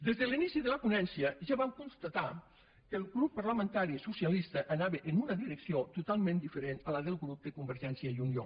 des de l’inici de la ponència ja vam constatar que el grup parlamentari socialista anava en una direcció totalment diferent de la del grup de convergència i unió